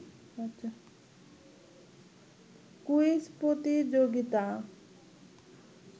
quiz প্রতিযোগিতা